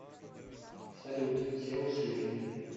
салют все ушли